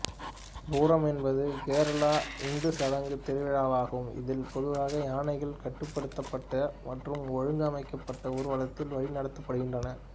பூரம் என்பது கேரள இந்து சடங்கு திருவிழாவாகும் இதில் பொதுவாக யானைகள் கட்டுப்படுத்தப்பட்ட மற்றும் ஒழுங்கமைக்கப்பட்ட ஊர்வலத்தில் வழிநடத்தப்படுகின்றன